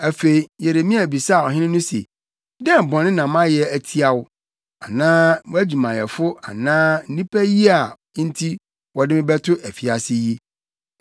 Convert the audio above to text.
Afei Yeremia bisaa ɔhene no se, “Dɛn bɔne na mayɛ atia wo, anaa wʼadwumayɛfo anaa nnipa yi a enti wɔde me ato afiase yi?